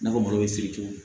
Na fɔ malo si